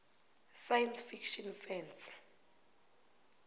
science fiction fans